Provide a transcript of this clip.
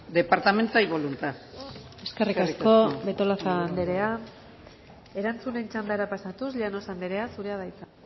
departamento hay voluntad eskerrik asko eskerrik asko betolaza anderea erantzunen txandara pasatuz llanos anderea zurea da hitza